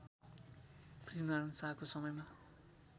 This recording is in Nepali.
पृथ्वीनारायण शाहको समयमा